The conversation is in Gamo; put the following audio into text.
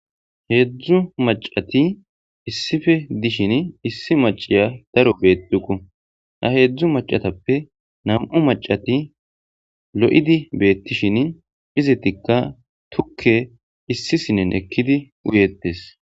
heedzdzu macati issife dishin issi maciya daro beetuku ha heedzdzu macatappe nam7u macati lo7idi beettishin izitikka tukke issisinen ekkidi uyeettes